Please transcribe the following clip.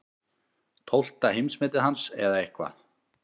Tólfta heimsmetið hans eða eitthvað.